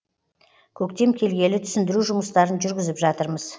көктем келгелі түсіндіру жұмыстарын жүргізіп жатырмыз